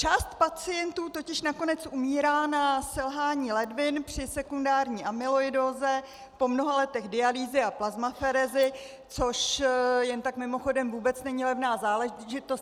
Část pacientů totiž nakonec umírá na selhání ledvin při sekundární amyloidóze po mnoha letech dialýzy a plazmaferézy, což jen tak mimochodem vůbec není levná záležitost.